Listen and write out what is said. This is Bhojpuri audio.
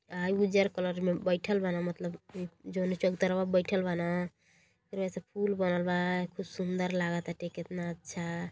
आई उजल कलर में बैठल बानअ मतलब इ जोने चबूतरावा पर बैठल बानअ ओकरी बाद से पुल बनल बा खूब सुंदर लाग ताटे कितना अच्छा --